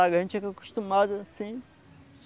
A gente fica acostumado assim.